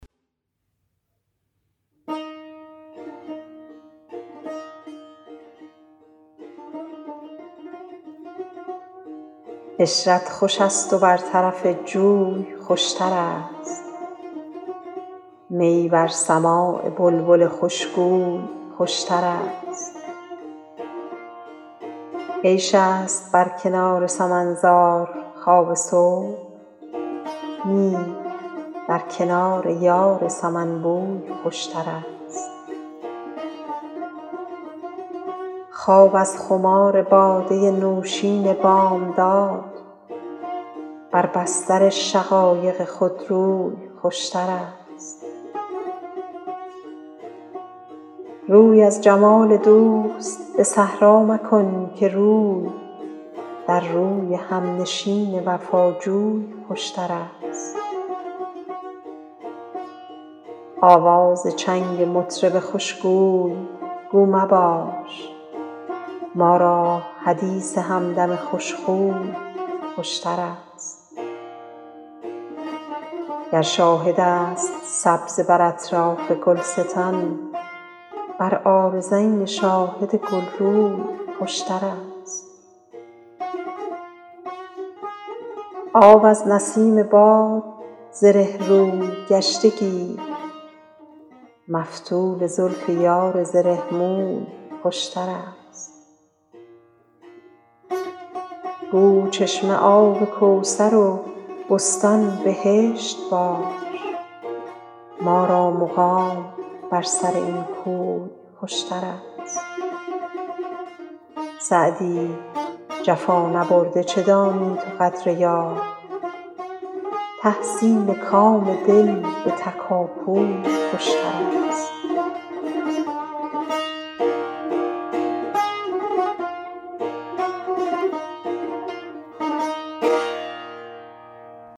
عشرت خوش است و بر طرف جوی خوشترست می بر سماع بلبل خوشگوی خوشترست عیش است بر کنار سمن زار خواب صبح نی در کنار یار سمن بوی خوشترست خواب از خمار باده نوشین بامداد بر بستر شقایق خودروی خوشترست روی از جمال دوست به صحرا مکن که روی در روی همنشین وفاجوی خوشترست آواز چنگ مطرب خوشگوی گو مباش ما را حدیث همدم خوشخوی خوشترست گر شاهد است سبزه بر اطراف گلستان بر عارضین شاهد گلروی خوشترست آب از نسیم باد زره روی گشته گیر مفتول زلف یار زره موی خوشترست گو چشمه آب کوثر و بستان بهشت باش ما را مقام بر سر این کوی خوشترست سعدی جفا نبرده چه دانی تو قدر یار تحصیل کام دل به تکاپوی خوشترست